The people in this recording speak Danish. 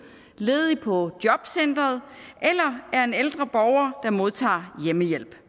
ledig på jobcenteret eller er en ældre borger der modtager hjemmehjælp